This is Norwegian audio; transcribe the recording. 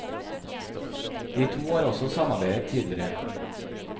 De to har også samarbeidet tidligere.